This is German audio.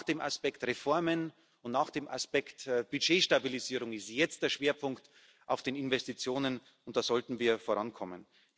Nach dem Aspekt Reformen und nach dem Aspekt Budgetstabilisierung liegt jetzt der Schwerpunkt auf den Investitionen. Da sollten wir vorankommen.